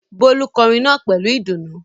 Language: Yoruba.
Bólú kọrin náà pẹ̀lú ìdùnnú.